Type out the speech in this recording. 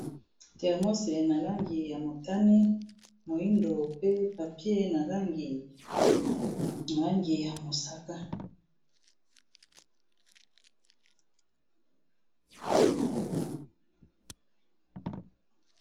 termose nal angi ya motani ,moindo pe papier na langi ya mosaka